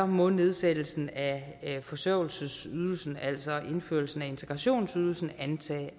må nedsættelsen af forsørgelsesydelsen altså indførelsen af integrationsydelsen antages